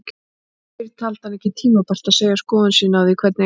Fyrr taldi hann ekki tímabært að segja skoðun sína á því, hvernig